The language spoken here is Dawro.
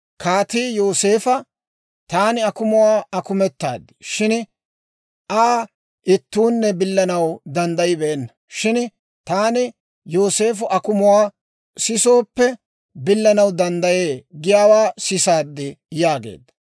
Kaatii Yooseefo, «Taani akumuwaa akumetaad; shin Aa ittuunne billanaw danddayibeenna. Shin taani, ‹Yooseefo akumuwaa sisooppe, billanaw danddayee› giyaawaa sisaad» yaageedda.